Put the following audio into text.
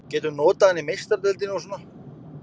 Getum notað hann í Meistaradeildinni og svona.